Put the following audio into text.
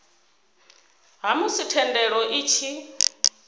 ha musi thendelo i tshi